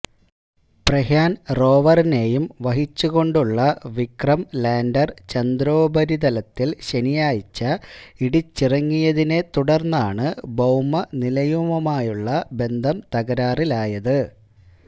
പ്രഗ്യാന് റോവറിനെയും വഹിച്ചുകൊണ്ടുള്ള വിക്രം ലാന്ഡര് ചന്ദ്രോപരിതലത്തില് ശനിയാഴ്ച ഇടിച്ചിറങ്ങിയതിനെ തുടര്ന്നാണ് ഭൌമനിലയവുമായുള്ള ബന്ധം തകരാറിലായത്